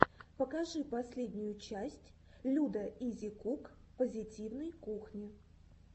покажи последнюю часть людаизикук позитивной кухни